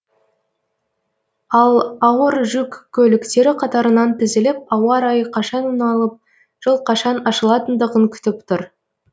ал ауыр жүк көліктері қатарынан тізіліп ауа райы қашан оңалып жол қашан ашылатындығын күтіп тұр